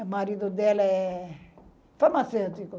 O marido dela é... farmacêutico.